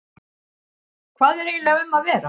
Hvað er eiginlega um að vera?